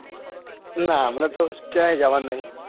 ના હમણાં તો કયોય જવાનું નથી.